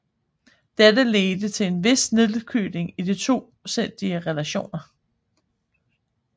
Dette ledte til en vis nedkøling i de tosidige relationer